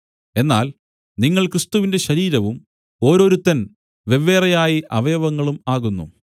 എന്നാൽ നിങ്ങൾ ക്രിസ്തുവിന്റെ ശരീരവും ഓരോരുത്തൻ വെവ്വേറെയായി അവയവങ്ങളും ആകുന്നു